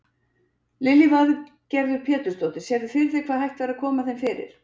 Lillý Valgerður Pétursdóttir: Sérðu fyrir þér hvar hægt væri að koma þeim fyrir?